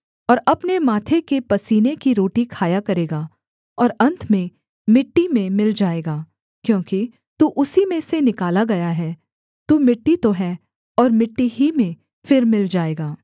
और अपने माथे के पसीने की रोटी खाया करेगा और अन्त में मिट्टी में मिल जाएगा क्योंकि तू उसी में से निकाला गया है तू मिट्टी तो है और मिट्टी ही में फिर मिल जाएगा